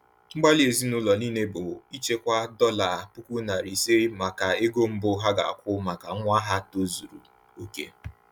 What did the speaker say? Mgbalị ezinụlọ niile bụ ichekwa dollar 50,000 maka ego mbu a ga-akwụ maka nwa ha tozuru oke.